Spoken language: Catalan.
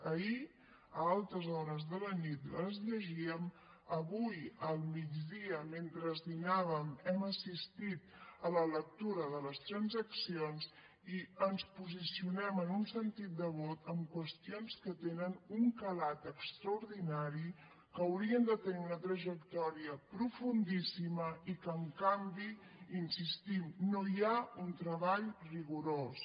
ahir a altes hores de la nit les llegíem avui al migdia mentre dinàvem hem assistit a la lectura de les transaccions i ens posicionem en un sentit de vot en qüestions que tenen un calat extraordinari que haurien de tenir una trajectòria profundíssima i que en canvi hi insistim no hi ha un treball rigorós